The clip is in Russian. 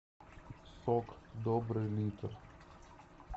сок добрый литр